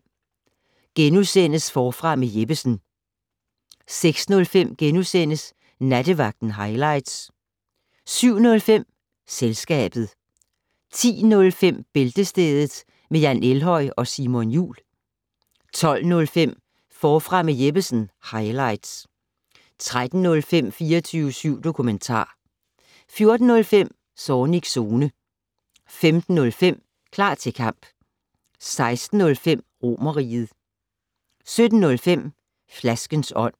05:05: Forfra med Jeppesen * 06:05: Nattevagten highlights * 07:05: Selskabet 10:05: Bæltestedet med Jan Elhøj og Simon Jul 12:05: Forfra med Jeppesen - highlights 13:05: 24syv dokumentar 14:05: Zornigs Zone 15:05: Klar til kamp 16:05: Romerriget 17:05: Flaskens ånd